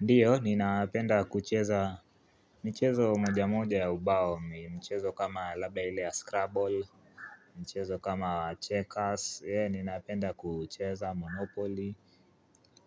Ndiyo, ninapenda kucheza michezo moja moja ya ubao, mchezo kama labda ile ya Scrabble, mchezo kama checkers, ninapenda kucheza Monopoly,